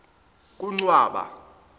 kuncwaba